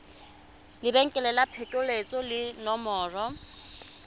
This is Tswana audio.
lebenkele la phokoletso le nomoro